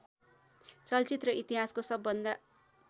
चलचित्र इतिहासको सबभन्दा